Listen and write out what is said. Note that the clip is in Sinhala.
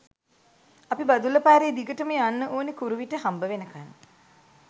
අපි බදුල්ල පාරේ දිගටම යන්න ඕන කුරුවිට හම්බවෙනකන්.